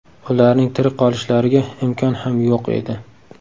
Ularning tirik qolishlariga imkon ham yo‘q edi.